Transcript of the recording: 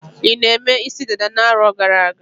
I na-eme isi dada na-arọ gara-aga?